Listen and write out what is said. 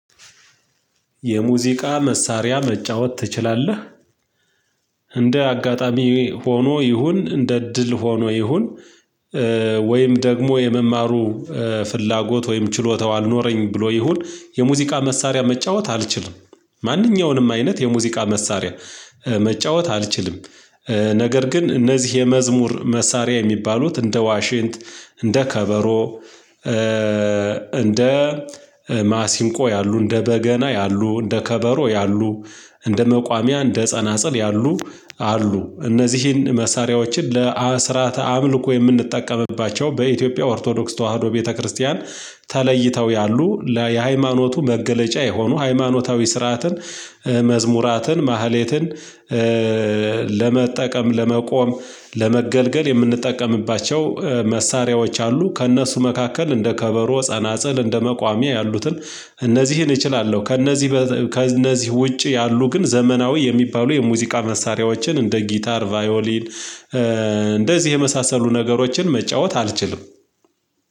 የሙዚቃ መሳሪያ መጫወት ትችላለህ? እንደ አጋጣሚ ሆኖ ይሁን እንደ ድል ሆኖ ይሁን ወይም ደግሞ የመማሩ ፍላጎት ወይም ችሎታው አልኖረኝ ብሎ ይሁን የሙዚቃ መሳሪያ መጫወት አልችልም ማንኛውንም አይነት የሙዚቃ መሳሪያ መጫወት አልችልም። ነገር ግን እነዚህ የመዝሙር መሳሪያ የሚባሉት እንደ ዋሽንት እንደ ከበሮ እንደ ማሲንቆ ያሉ እንደ በገና ያሉ እንደ ከበሮ ያሉ እንደ መቋሚያ እንደ ጸናጽል ያሉ አሉ እነዚህን መሳሪያዎችን ለአስራት አምልኮ የምንጠቀምባቸው በኢትዮጵያ ኦርቶዶክስ ተዋህዶ ቤተክርስቲያን ተለይተው ያሉ የሃይማኖቱ መገለጫ የሆኑ ሃይማኖታዊ ስርዓትን መዝሙራትን ማህሌትን ለመጠቀም ለመቆም ለመገልገል የምንጠቀምባቸው መሳሪያዎች አሉ ከእነሱ መካከል እንደ ከበሮ ጸናጽል እንደ መቋሚያ ያሉትን እነዚህን እችላለው ከእነዚህ ከእነዚህ ውጪ ያሉ ግን ዘመናዊ የሚባሉ የሙዚቃ መሳሪያዎችን እንደ ጊታር ቫዮሊን እንደዚህ የመሳሰሉ ነገሮችን መጫወት አልችልም።